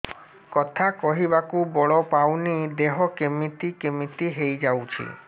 କଥା କହିବାକୁ ବଳ ପାଉନି ଦେହ କେମିତି କେମିତି ହେଇଯାଉଛି